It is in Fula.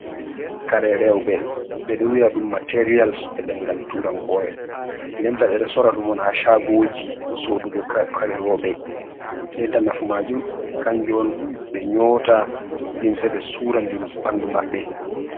Kare rewɓe ɓedo wi'a ɗum materials e ɗengal turankore, denta ɓe ɗo sora ɗum on ha chagoji sorugo kare rewɓe, nden ta nafu majum kanju on ɓe nyota limse be sura ɓandu maɓɓe.